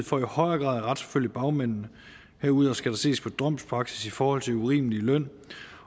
for i højere grad at retsforfølge bagmændene herudover skal der ses på domspraksis i forhold til urimelig løn